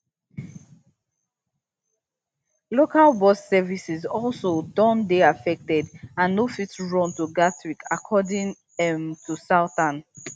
local bus services also don dey affected and no fit run to gatwick according um to southern